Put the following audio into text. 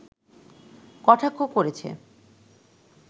কটাক্ষ করেছে